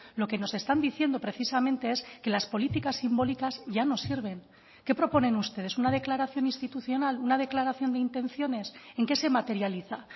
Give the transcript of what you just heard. lo que nos están diciendo precisamente es que las políticas simbólicas ya no sirven qué proponen ustedes una declaración institucional una declaración de intenciones en qué se materializa